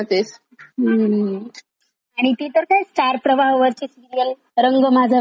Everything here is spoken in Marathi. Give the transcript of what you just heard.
आणि ती तर काय स्टार प्रवाह वरची सिरीअल रंग माझा वेगळा ती तर कुठल्या कुठे भरकटलिये ती.